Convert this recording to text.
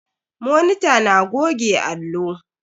Monita na goge allo.